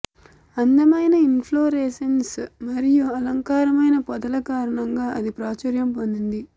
అందమైన ఇంఫ్లోరేస్సెన్సేస్ మరియు అలంకారమైన పొదల కారణంగా అది ప్రాచుర్యం పొందింది